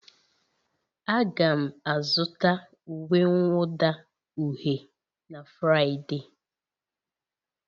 Aga m azụta uwe mwụda uhie na Fraịde.